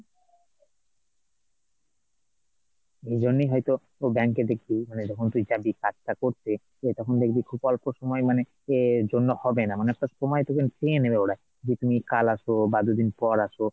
এইজন্যই হয়তো তোর bank এ দেখবি মানে, যখন তুই যাবি কাজটা করতে তখন দেখবি খুব অল্প সময়ে মানে যে এর জন্য হবেনা অনেকটা সময় তোকে নিয়ে নেবে ওরা যে তুমি কাল আসো বা দুদিন পর আসো,